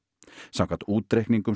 samkvæmt útreikningum